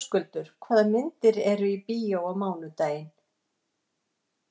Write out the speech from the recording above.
Höskuldur, hvaða myndir eru í bíó á mánudaginn?